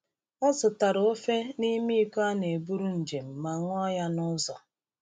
Ọ zụtara ofe n’ime iko a na-eburu njem ma ṅụọ ya n’ụzọ.